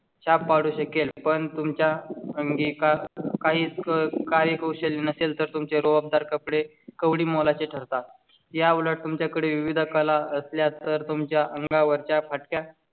छाप पाडू शकेल पण तुमच्या अंगी का काही कार्यकुशल नसेल तर तुमचे रुबाबदार कपडे कवडी मोलाची ठरतात. याउलट तुमच्याकडे विविध कला असल्या तर तुमच्या अंगावर च्या फाटक्या